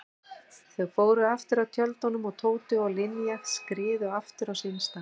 Þau fóru aftur að tjöldunum og Tóti og Linja skriðu aftur á sinn stað.